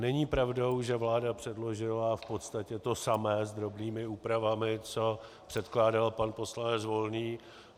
Není pravdou, že vláda předložila v podstatě to samé s drobnými úpravami, co předkládal pan poslanec Volný.